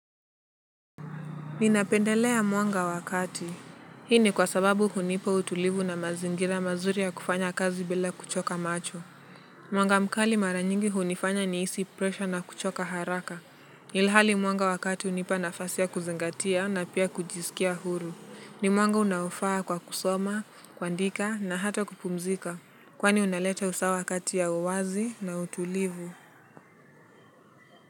Ninapendelea mwanga wa kati. Hii ni kwa sababu hunipa utulivu na mazingira mazuri ya kufanya kazi bila kuchoka macho. Mwanga mkali mara nyingi hunifanya nihisi pressure na kuchoka haraka. Ilhali mwanga wa kati hunipa nafasi ya kuzingatia na pia kujisikia huru. Ni mwanga unaofaa kwa kusoma, kuandika na hata kupumzika. Kwani unaleta usawa kati ya uwazi na utulivu.